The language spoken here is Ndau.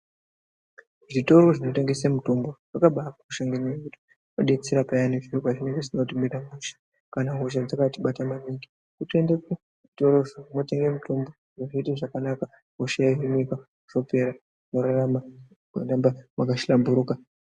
Zvitoro zvinotengesa mutombo zvaka bakosha maningi ,zvinotibetsera payani zvinhi pazvinenge zvisina kutimira mushe kana hosha dzakatibata maningu totoendda kuzvitoro totenga mutombo zviro zvotoita zvakanaka hosha yohimika zvopera wotorarama woramba waka hlamburuka.